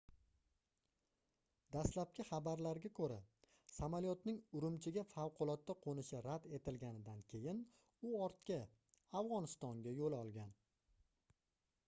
dastlabki xabarlarga koʻra samolyotning urumchiga favqulodda qoʻnishi rad etilgandan keyin u ortga afgʻonistonga yoʻl olgan